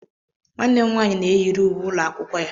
Nwanne m nwaanyị na-eyiri uwe ụlọ akwụkwọ ya.